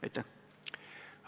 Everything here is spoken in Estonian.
Aitäh!